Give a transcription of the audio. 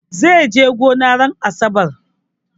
Zai je gona ranar asabar.